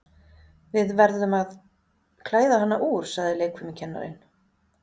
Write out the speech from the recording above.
Við verðum að klæða hana úr, sagði leikfimikennarinn.